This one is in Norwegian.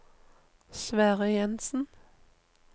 Sverre Jenssen